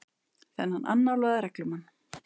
Þennan annálaða reglumann.